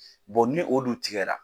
ni o dun tigɛra